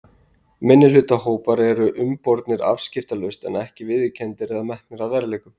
Minnihlutahópar eru umbornir afskiptalaust en ekki viðurkenndir eða metnir að verðleikum.